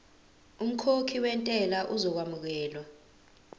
umkhokhi wentela uzokwamukelwa